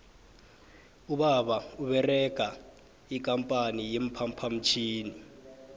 ubaba uberega ikampani ye phaphamtjhini